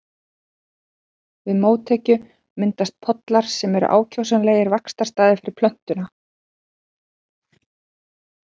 Við mótekju myndast pollar sem eru ákjósanlegir vaxtarstaðir fyrir plöntuna.